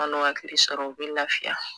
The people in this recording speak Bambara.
N'o hakili sɔrɔ u b'i lafiya